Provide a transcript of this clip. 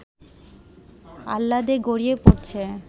আহ্লাদে গড়িয়ে পড়ছে